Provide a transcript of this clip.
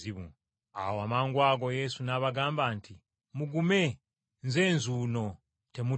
Awo amangwago Yesu n’abagamba nti, “Mugume, Nze nzuuno temutya.”